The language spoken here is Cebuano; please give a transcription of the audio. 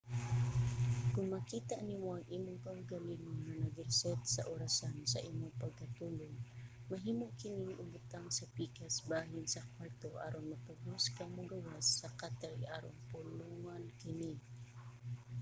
kon makita nimo ang imong kaugalingon nga nag-reset sa orasan sa imong pagkatulog mahimo kining ibutang sa pikas bahin sa kwarto aron mapugos kang mogawas sa katre aron palungon kini